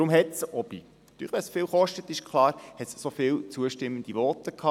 Auch wenn es viel kostet, hat es viele zustimmende Voten gegeben.